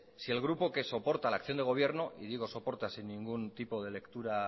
si el grupo que soporta la acción de gobierno y digo soporta sin ningún tipo de lectura